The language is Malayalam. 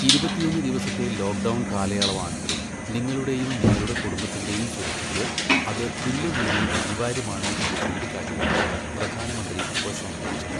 ഇരുപത്തിയൊന്ന് ദിവസത്തെ ലോക്ഡൗൺ കാലയളവാണെങ്കിലും നിങ്ങളുടെയും നിങ്ങളുടെ കുടുംബത്തിന്റെയും സുരക്ഷക്ക് അത് തുല്യനിലയിൽ അനിവാര്യമാണ് എന്ന് ചൂണ്ടിക്കാട്ടിയാണ് പ്രധാനമന്ത്രി ഉപസംഹരിച്ചത്.